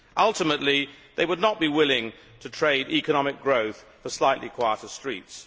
Ultimately they would not be willing to trade economic growth for slightly quieter streets.